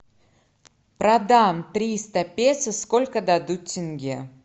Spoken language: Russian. продам триста песо сколько дадут тенге